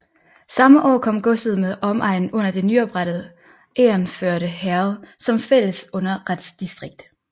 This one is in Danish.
Samme år kom godset med omegnen under det nyoprettede Egernførde Herred som fælles underretsdistrikt